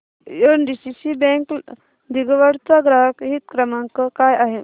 NDCC bank दिघवड चा ग्राहक हित क्रमांक काय आहे